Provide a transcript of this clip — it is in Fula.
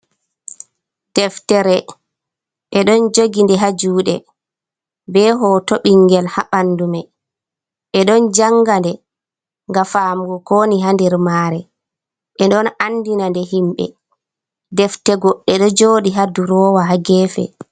Deftere: Ɓeɗo jogi nde ha juɗe be hoto ɓingel ha ɓandu mai. Ɓeɗo janga nde ngam famugo kowoni ha nder mare. Ɓeɗo andina nde himɓe. Defte goɗɗe ɗo joɗi ha duroowa ha gefe.